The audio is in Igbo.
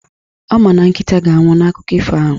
Ọ ma na Nkịta ga-anwụ n'akụkọ ifo ahụ